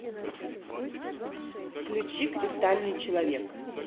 включи кристальный человек